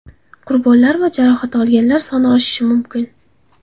Qurbonlar va jarohat olganlar soni oshishi mumkin.